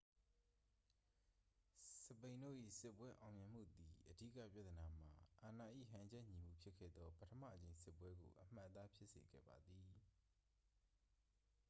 စပိန်တို့၏စစ်ပွဲအောင်မြင်မှုသည် အဓိကပြဿနာမှာ အာဏာ၏ဟန်ချက်ညီမှုဖြစ်ခဲ့သော ပထမအကြိမ်စစ်ပွဲကို အမှတ်အသားဖြစ်စေခဲ့ပါသည်